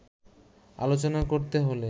আলোচনা করতে হলে